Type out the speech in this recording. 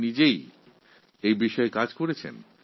আপনি তো নিজেই এই বিষয়ে কাজ করছেন